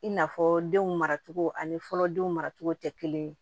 I n'a fɔ denw maracogo ani fɔlɔ denw maracogo tɛ kelen ye